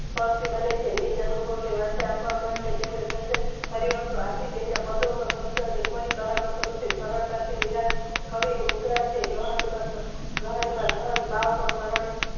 ટસથી બને છે. નીચ એનું ભાવ ને વચ્ચ રાખવા માટે તેમને સર્જન કર્યું હતું આથી તેમના પદોમાં શબ્દોની કઈ કાળા માટે નથી સરળ તાથી મીરા કવિની મુદ્રા છે ગહન માતો ગહન ભાવ પણ સરળ